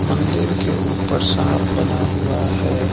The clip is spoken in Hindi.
मंदिर के ऊपर सांप बना हुआ है।